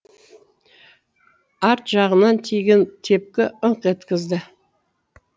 арт жағынан тиген тепкі ыңқ еткізді